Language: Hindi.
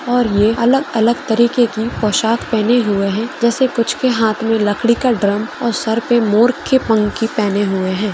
और यह अलग अलग तरीके की पोषक पहने हुए है। जैसे कुछ के हाथ में लकड़ी का ड्रम और सर पे मोर की पंके पहने हुआ है।